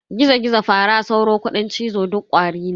Gizo-Gizo, Fara, Sauro, Kuɗin cizo duk Ƙwari ne.